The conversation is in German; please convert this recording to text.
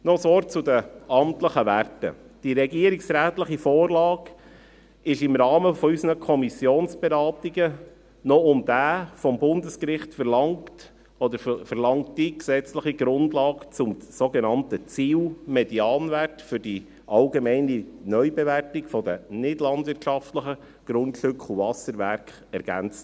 Noch ein Wort zu den amtlichen Werten: Die regierungsrätliche Vorlage wurde im Rahmen unserer Kommissionsberatungen noch um die vom Bundesgericht verlangte gesetzliche Grundlage zum sogenannten Ziel-Medianwert für die allgemeine Neubewertung der nichtlandwirtschaftlichen Grundstücke und Wasserwerke ergänzt.